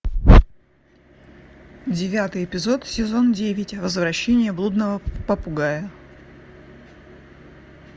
девятый эпизод сезон девять возвращение блудного попугая